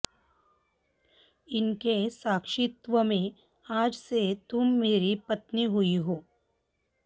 इनके साक्षित्व में आज से तुम मेरी पत्नी हुई हो